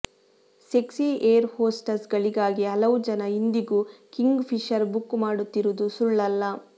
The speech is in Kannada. ಸೆಕ್ಸಿ ಏರ್ ಹೋಸ್ಟಸ್ ಗಳಿಗಾಗೇ ಹಲವು ಜನ ಇಂದಿಗೂ ಕಿಂಗ್ ಫಿಷರ್ ಬುಕ್ ಮಾಡುತ್ತಿರುವುದು ಸುಳ್ಳಲ್ಲ